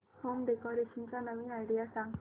home decoration च्या नवीन idea सांग